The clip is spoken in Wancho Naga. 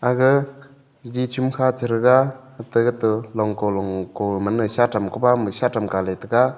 aga ji chum kha chairaga hata gato long ko long ko manai shatam koba mu shatam ga le tega.